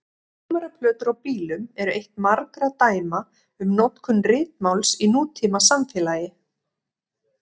Númeraplötur á bílum eru eitt margra dæma um notkun ritmáls í nútímasamfélagi.